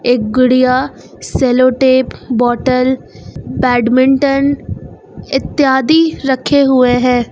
एक गुड़िया cello tape bottle badminton इत्यादि रखे हुए हैं।